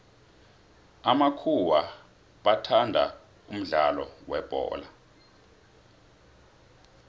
amakhuwa bathanda umudlalo webholo